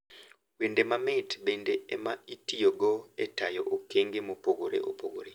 Wende mamit bende ema itiyogo e tayo okenge mopogore opogore.